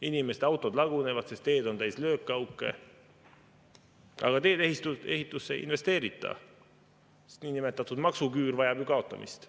Inimeste autod lagunevad, sest teed on täis löökauke, aga teede-ehitusse ei investeerita, sest niinimetatud maksuküür vajab ju kaotamist.